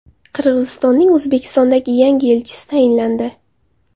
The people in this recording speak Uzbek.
Qirg‘izistonning O‘zbekistondagi yangi elchisi tayinlandi.